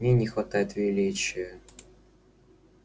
в ней не хватает величия